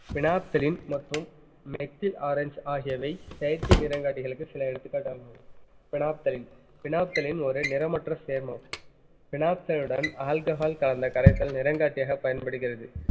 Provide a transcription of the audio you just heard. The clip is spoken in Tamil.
phenolphthalein மற்றும் methyl ஆரஞ்சு ஆகியவை செயற்கை நிறங்காட்டிகளுக்கு சில எடுத்துக்காட்டாகும் phenolphthalein phenolphthalein ஒரு நிறமற்ற சேர்மம் phenolphthalein உடன் alcohol கலந்த கரைசல் நிறங்காட்டியாகப் பயன்படுகிறது